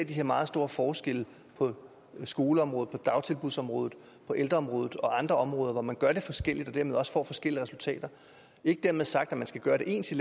de her meget store forskelle på skoleområdet på dagtilbudsområdet på ældreområdet og andre områder hvor man gør det forskelligt og dermed også får forskellige resultater ikke dermed sagt at man skal gøre det ens i